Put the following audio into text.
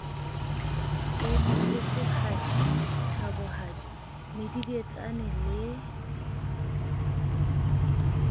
be motlotlohadi thabohadi medidietsane le